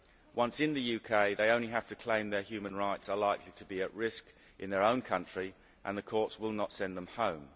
Once in the UK, they only have to claim that their human rights are likely to be at risk in their own country and the courts will not send them home.